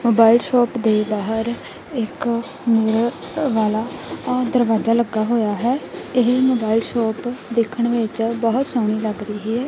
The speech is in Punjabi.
ਮੋਬਾਈਲ ਸ਼ੌਪ ਦੇ ਬਾਹਰ ਇੱਕ ਲੋਹੇ ਵਾਲਾ ਦਰਵਾਜਾ ਲੱਗਾ ਹੋਏਆ ਹੋਇਆ ਹੈ ਇਹ ਮੋਬਾਈਲ ਸ਼ੌਪ ਦੇਖਣ ਵਿਚ ਬਹੁਤ ਸੋਹਣੀ ਲੱਗ ਰਹੀ ਹੈ।